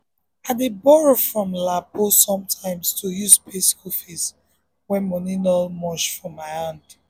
i dey borow from lapo sometimes to use pay school fees when money no much for my hand